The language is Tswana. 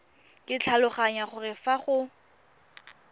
ke tlhaloganya gore fa go